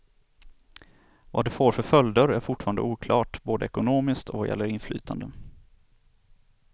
Vad det får för följder är fortfarande oklart, både ekonomiskt och vad gäller inflytande.